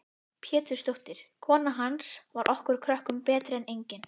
Pétursdóttir, kona hans, var okkur krökkunum betri en engin.